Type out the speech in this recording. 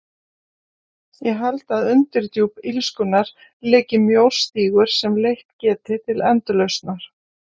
Ég held að um undirdjúp illskunnar liggi mjór stígur sem leitt geti til endurlausnar.